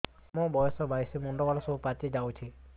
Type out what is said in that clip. ମୋର ବୟସ ବାଇଶି ମୁଣ୍ଡ ବାଳ ସବୁ ପାଛି ଯାଉଛି